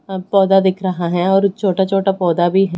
पौधा दिख रहा है और छोटा छोटा पौधा भी है।